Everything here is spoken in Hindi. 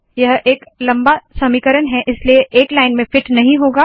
यह एक लंबा समीकरण है इसलिए एक लाइन में फिट नहीं होगा